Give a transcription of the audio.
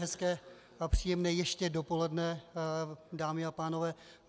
Hezké a příjemné ještě dopoledne, dámy a pánové.